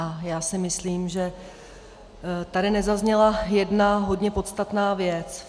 A já si myslím, že tady nezazněla jedna hodně podstatná věc.